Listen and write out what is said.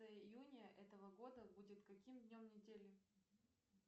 июня этого года будет каким днем недели